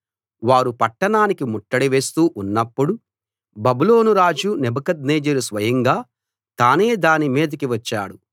వారు పట్టణానికి ముట్టడి వేస్తూ ఉన్నప్పుడు బబులోను రాజు నెబుకద్నెజరు స్వయంగా తానే దాని మీదకి వచ్చాడు